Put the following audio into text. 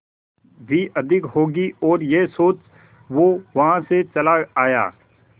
भी अधिक होगी और यह सोच वो वहां से चला आया